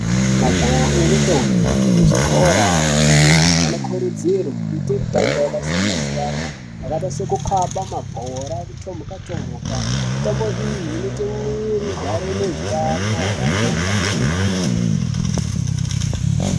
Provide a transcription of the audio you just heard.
Majaha ngendombi dzekuzvikora yechipiri anokurudzirwe kuita mitamo yakasiyana-siyana, yakaita sekukaba mabhora kutomuka-tomuka, mitambo iyi inoita mwiri igare ine itano hwakanaka kwemene.